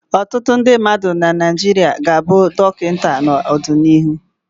Ọtụtụ ndị mmadụ na Naịjirịa ga-abụ Dọkịta n'ọdịnihu.